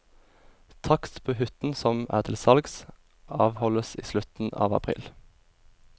Takst på hytten som er til salgs, avholdes i slutten av april.